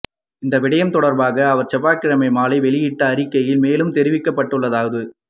இந்த விடயம் தொடர்பாக அவர் செவ்வாய்க்கிழமை மாலை வெளியிட்ட அறிக்கையில் மேலும் தெரிவிக்கப்பட்டுள்ளதாவது